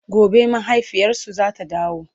gobe mahaifiyarsu zata dawo